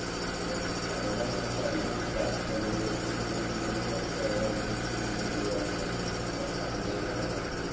okay അത്കൊണ്ടാണ് നിനക്കധികം കാശ് ചെലവ് ഇപ്പോളും ഏർ EMI കൊറച്ച് കുറവായിട്ടും പിന്നെ നിനക്ക് ആയി വന്നത് ഞാന് first അമ്പതിനായിരാണ് അടച്ചത്